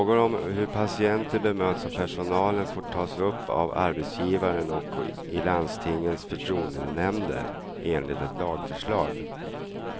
Frågor om hur patienter bemöts av personalen får tas upp av arbetsgivaren och i landstingens förtroendenämnder, enligt ett lagförslag.